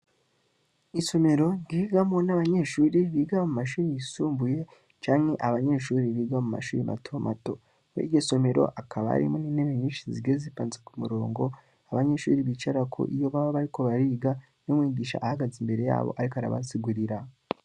Isomero ryigamwo nabanyeshure biga namashure yisumbuye canke mumashure matomato muriryosomero rikaba intebe nyinshi zigiye zitondetse kumurongo abanyeshure bicarako iyo baba bariko bariga umwigisha ahagaze Imbere yabo ariko arabasigurira.